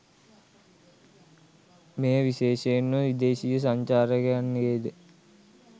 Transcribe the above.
මෙය විශේෂයෙන්ම විදේශීය සංචාරකයන්ගේද